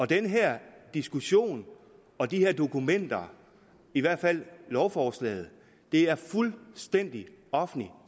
den her diskussion og de her dokumenter i hvert fald lovforslaget er fuldstændig offentligt